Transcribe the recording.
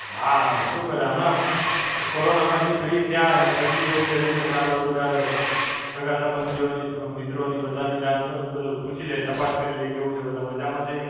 હાં, શું કરે હમણાં? કોરોનામાંથી Free થયા અને પછી એવું થયું કે ચાલો બધાં સગા-સંબંધીઓની, મિત્રોની, બધાની જાણ પણ પેલું પૂછી લઈએ, તપાસ કરી લઈએ. કેવું છે? બધા મજામાં છે?